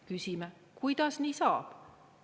Küsime, kuidas nii saab.